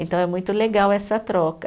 Então é muito legal essa troca.